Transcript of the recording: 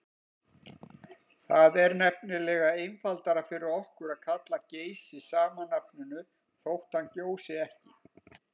Það er nefnilega einfaldara fyrir okkur að kalla Geysi sama nafninu þótt hann gjósi ekki.